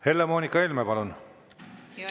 Helle-Moonika Helme, palun!